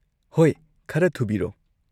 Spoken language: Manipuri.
ꯍꯣꯏ, ꯈꯔ ꯊꯨꯕꯤꯔꯣ?